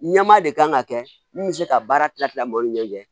Ɲɛma de kan ka kɛ min bɛ se ka baara tilatila mɔgɔw ni ɲɔgɔn cɛ